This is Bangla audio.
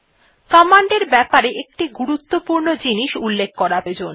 কমান্ড এর ব্যাপারে একটি গুরুত্বপূর্ণ জিনিস উল্লেখ করা প্রয়োজন